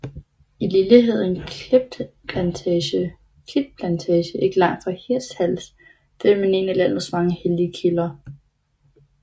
I Lilleheden Klitplantage ikke langt fra Hirtshals finder man en af landets mange hellige kilder